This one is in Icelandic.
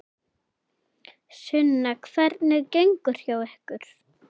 Sunna: Hvernig gengur hjá ykkur?